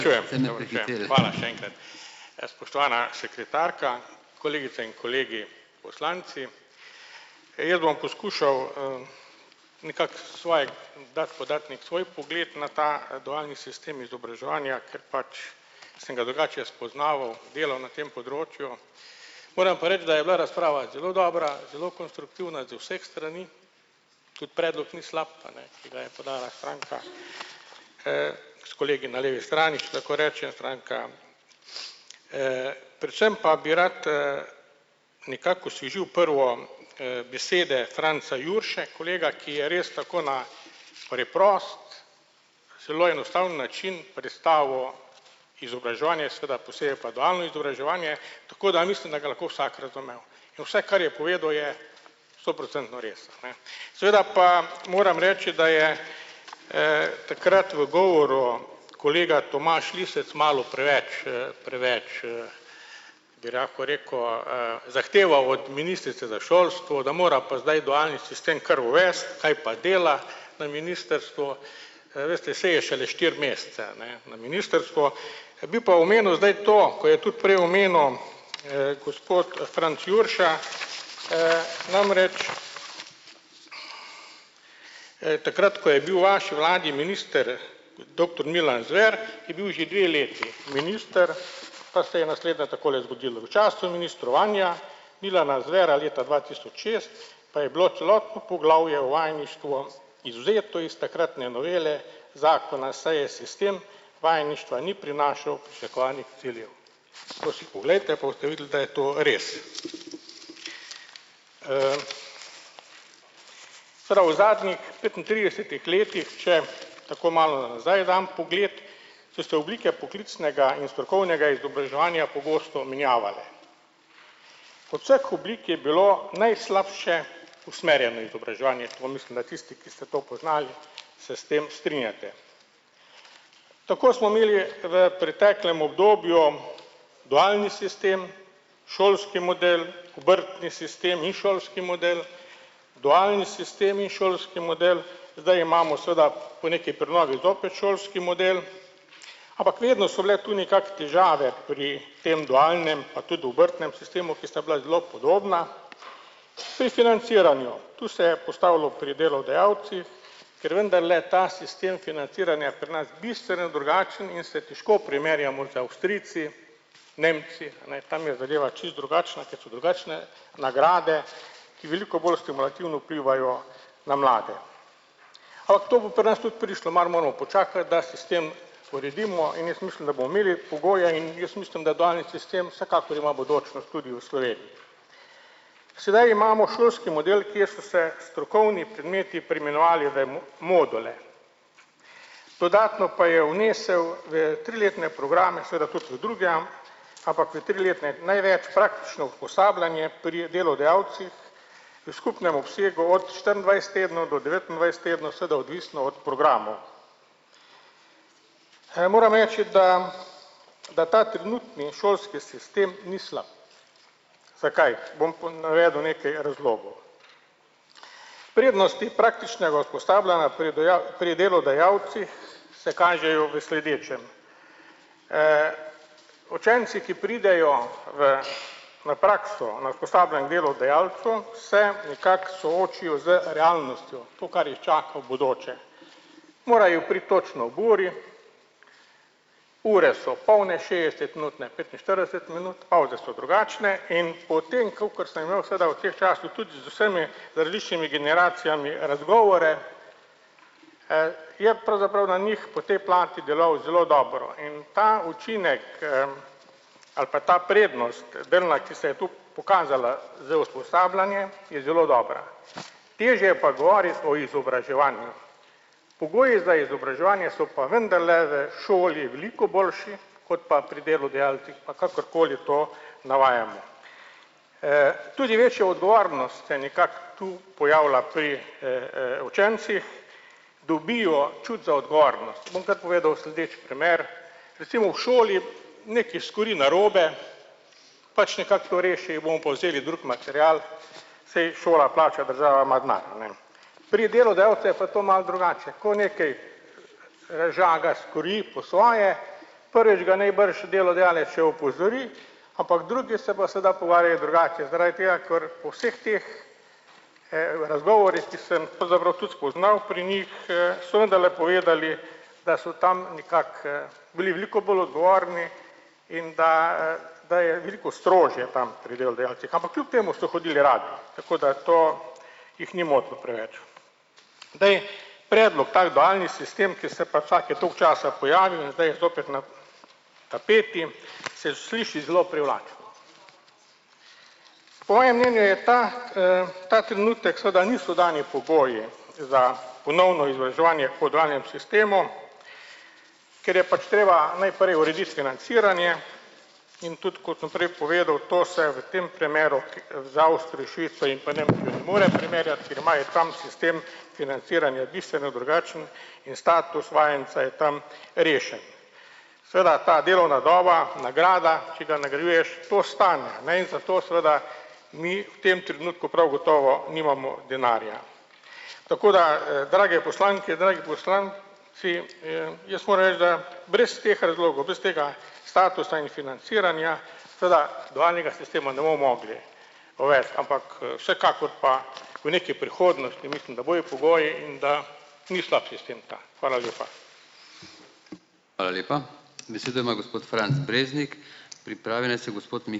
Spoštovana sekretarka, kolegice in kolegi poslanci. Jaz bom poskušal, nekako svoj dati, podati neki svoj pogled na ta dualni sistem izobraževanja, ker pač sem ga drugače jaz spoznaval, delal na tem področju. Moram pa reči, da je bila razprava zelo dobra zelo konstruktivna iz vseh strani, tudi predlog ni slab, a ne, ki ga je podala stranka, s kolegi na levi strani, če tako rečejo stranka. Predvsem pa bi rad, nekako osvežil prvo, besede Franca Jurše kolega, ki je res tako na preprost, zelo enostaven način predstavil izobraževanje, seveda posebej pa dualno izobraževanje, tako da mislim, da ga je lahko vsak razumel. In vse, kar je povedal, je stoprocentno res, ne. Seveda pa moram reči, da je, takrat v govoru kolega Tomaž Lisec malo preveč, preveč, bi lahko rekel, zahteval od ministrice za šolstvo, da mora pa zdaj dualni sistem kar uvesti, kaj pa dela na ministrstvu. Veste, saj je šele štiri mesece, a ne, na ministrstvu. Bi pa omenil zdaj to, ko je tudi prej omenil, gospod Franc Jurša, namreč, takrat, ko je bil vaš glavni minister doktor Milan Zver, je bil že dve leti minister, pa se je naslednje takole zgodilo v času ministrovanja Milana Zvera leta dva tisoč šest, pa je bilo celotno poglavje o vajeništvu izvzeto iz takratne novele zakona, saj je sistem vajeništva ni prinašal pričakovanih ciljev. To si poglejte, pa boste videli, da je to res. Prav v zadnjih petintridesetih letih, če tako malo nazaj dam pogled, so se oblike poklicnega in strokovnega izobraževanja pogosto menjavale. Od vseh oblik je bilo najslabše usmerjeno izobraževanje, to mislim, da tisti, ki ste to poznali, se s tem strinjate. Tako smo imeli v preteklem obdobju dualni sistem, šolski model obrtni sistem in šolski model dualni sistem in šolski model, zdaj imamo seveda po neki prenovi zopet šolski model. Ampak vedno so bile tu nekako težave pri tem dualnem pa tudi obrtnem sistemu, ki sta bila zelo podobna. Pri financiranju, to se je postavilo pri delodajalcih, ker vendarle ta sistem financiranja je pri nas bistveno drugačen in se težko primerjamo z Avstrijci, Nemci, a ne, tam je zadeva čisto drugačna, ker so drugačne nagrade, ki veliko bolj stimulativno vplivajo na mlade. Kako to po pri nas tudi prišlo, malo moramo počakati, da sistem uredimo, in jaz mislim, da bomo imeli pogoje, in jaz mislim, da dualni sistem vsekakor ima bodočnost tudi v Sloveniji. Sedaj imamo šolski model, kje so se strokovni predmeti preimenovali v module. Dodatno pa je vnesel v triletne programe, seveda tudi v druge, ampak v triletne največ praktično usposabljanje pri delodajalcih, v skupnem obsegu od štiriindvajset tednov do devetindvajset tednov, seveda odvisno od programov. Moram reči, da da ta trenutni šolski sistem ni slab. Zakaj? Bom navedel nekaj razlogov. Prednosti praktičnega usposabljanja pri pri delodajalcih se kažejo v sledečem. Učenci, ki pridejo v na prakso na usposabljanje k delodajalcu, se nekako soočijo z realnostjo, to, kar jih čaka v bodoče. Morajo priti točno ob uri, ure so polne šestdesetminutne, petinštirideset minut, pavze so drugačne in po tem, kakor sem gledal, se da v teh časih tudi z vsemi različnimi generacijami razgovore, je pravzaprav na njih po tej plati delal zelo dobro, in ta učinek, ali pa ta prednost delna, ki se je to pokazala za usposabljanje, je zelo dobra. Težje je pa govoriti o izobraževanju. Pogoji za izobraževanje so pa vendarle v šoli veliko boljše kot pa pri delodajalcih, pa kakorkoli to navajamo. Tudi večja odgovornost se nekako tu pojavila pri, učencih, dobijo čut za odgovornost, bom kar povedal sledeč primer, recimo v šoli nekaj skuri narobe, pač nekako to reši, bomo pa vzeli drug material, saj šola plača, država ima denar, a ne. Pri delodajalcu je pa to malo drugače, ko nekaj, žaga, skuri po svoje, prvič ga najbrž delodajalec še opozori, ampak drugi se bojo seveda pogovarjali drugače, zaradi tega ker po vseh teh, razgovorih, ki sem pravzaprav tudi spoznal pri njih, so vendarle povedali, da so tam nekako, bili veliko bolj odgovorni in da, da je veliko strožje tam pri delodajalcih. Ampak kljub temu so hodili radi. Tako da to jih ni motilo preveč. Zdaj, predlog tak dualni sistem, ki se pa čake toliko časa pojavi, je zdaj zopet na tapeti, se sliši zelo privlačno. Po mojem mnenju je ta, ta trenutek seveda niso dani pogoji za ponovno izobraževanje po dualnem sistemu, ker je pač treba najprej urediti financiranje, in tudi kot sem prej povedal, to se v tem primeru, ker imajo tam sistem financiranja bistveno drugačen, in status vajenca je tam rešen. Seveda ta delovna doba, nagrada, če ga nagrajuješ, to stane, ne, in zato seveda mi v tem trenutku prav gotovo nimamo denarja. Tako da, drage poslanke, dragi poslan ci jaz moram reči, da brez teh razlogov, brez tega statusa in financiranja seveda dualnega sistem ne bomo mogli uvesti, ampak, vsekakor pa v neki prihodnosti mislim, da bojo pogoji in da ni slab sistem ta. Hvala lepa.